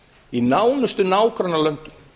í nánustu nágrannalöndum